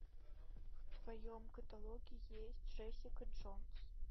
в твоем каталоге есть джессика джонс